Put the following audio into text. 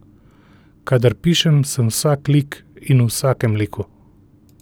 Kadar pišem sem vsak lik in v vsakem liku ...